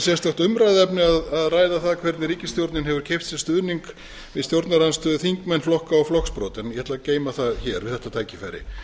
sérstakt umræðuefni að ræða það hvernig ríkisstjórnin hefur keypt sér stuðning við stjórnarandstöðuþingmenn flokka og flokksbrota en ég ætla að geyma það við þetta tækifæri